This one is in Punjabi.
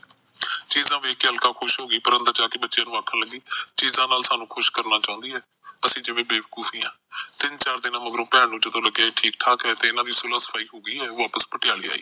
ਚੀਜਾ ਵੇਖ ਕੇ ਅਲਕਾ ਖੁਸ਼ ਹੋ ਗਈ ਪਰ ਉਹ ਅੰਦਰ ਜਾ ਕੇ ਬੱਚਿਆਂ ਨੂੰ ਆਖਣ ਲਗੀ ਕਿ ਚੀਜਾ ਨਾਲ ਸਾਨੂੰ ਖੁਸ਼ ਕਰਨਾ ਚਾਹੁੰਦੀ ਐ ਅਸੀਂ ਜਿਵੇਂ ਬੇਵਕੂਫ ਐ ਤਿਨ ਚਾਰ ਦਿਨ ਮਗਰੋਂ ਭੈਣ ਨੂੰ ਜਦੋ ਲੱਗਿਆ ਠੀਕ ਠਾਕ ਏ ਤੇ ਇਹਨਾਂ ਦੀ ਸੁਲਾਹ ਸਫਾਈ ਹੋ ਗਈ ਐ ਉਹ ਵਾਪਸ ਪਟਿਆਲਾ ਆਈ